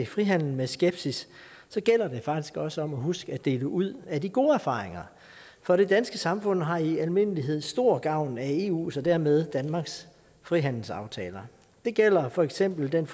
frihandel med skepsis så gælder det faktisk også om at huske at dele ud af de gode erfaringer for det danske samfund har i almindelighed stor gavn af eus og dermed danmarks frihandelsaftaler det gælder for eksempel den